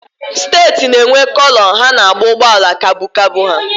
Steeti na-enwe Kọlọ ha na-agba ụgbọala kabu kabu ha